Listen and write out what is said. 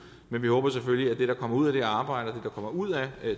men vi håber selvfølgelig at det der kommer ud af det her arbejde og kommer ud af